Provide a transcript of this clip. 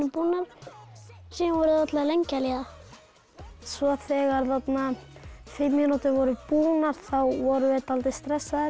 búnar síðan voru þær allar lengi að líða svo þegar fimm mínútur voru búnar þá vorum við dálítið stressaðir